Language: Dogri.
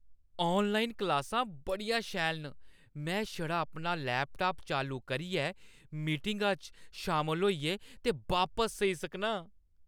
ऑनलाइन क्लासां बड़ियां शैल न। में छड़ा अपना लैपटाप चालू करियै, मीटिंगा च शामल होइयै ते बापस सेई सकनां।